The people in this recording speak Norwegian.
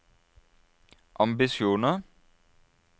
ambisjoner